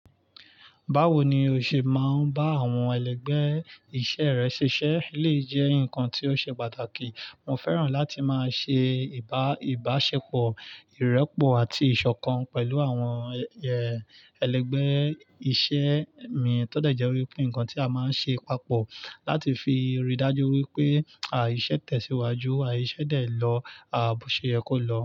Báwo ni o ṣe máa ń bá àwọn ẹlẹgbẹ́ iṣẹ́ rẹ ṣiṣẹ́ lè jẹ́ ǹkan tí ó ṣe pàtàkì. Mo fẹ́ràn láti máa ṣe ìbá ìbáṣepọ̀, ìrẹ́pọ̀ àti ìṣọ̀kan pẹ̀lú àwọn ẹ, ẹlẹgbẹ́ iṣẹ́ mi tó dẹ̀ jẹ́ wípé nǹkan tí a máa ń ṣe papọ̀ láti fi rí i dájú wípé àìṣẹ̀ tẹ̀síwájú, àìṣẹ̀ dè lọ, àìṣẹ̀ yọ kó lọ.